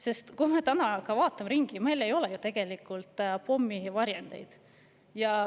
Sest kui me täna vaatame ringi, siis me näeme, et meil ei ole tegelikult ju pommivarjendeid.